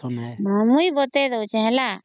ମୁଇଁ ବତେଇ ଦଉଛେ ହେଲା